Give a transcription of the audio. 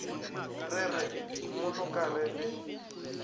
re re mmoloka re le